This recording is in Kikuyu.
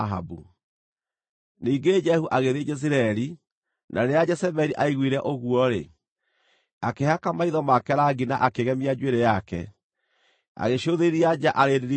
Ningĩ Jehu agĩthiĩ Jezireeli. Na rĩrĩa Jezebeli aaiguire ũguo-rĩ, akĩhaka maitho make rangi na akĩgemia njuĩrĩ yake, agĩcũthĩrĩria nja arĩ ndirica-inĩ.